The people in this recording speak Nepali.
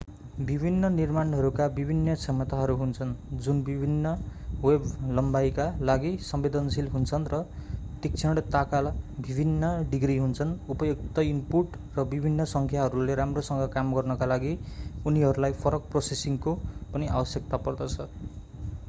विभिन्न निर्माणहरूका विभिन्न क्षमताहरू हुन्छन् जुन विभिन्न वेभ-लम्बाईका लागि संवेदनशील हुन्छन् र तीक्ष्णताका विभिन्न डिग्री हुन्छन् उपयुक्त ईनपुट र विभिन्न संख्याहरूले राम्रोसँग काम गर्नका लागि उनीहरूलाई फरक प्रोसेसिङको पनि आवश्यकता पर्दछ